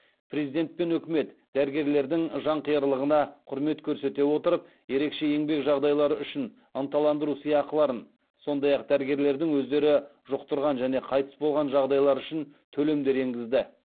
президент пен үкімет дәрігерлердің жанқиярлығына құрмет көрсете отырып ерекше еңбек жағдайлары үшін ынталандыру сыйақыларын сондай ақ дәрігерлердің өздері жұқтырған және қайтыс болған жағдайлар үшін төлемдер енгізді